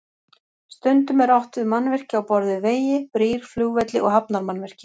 Stundum er átt við mannvirki á borð við vegi, brýr, flugvelli og hafnarmannvirki.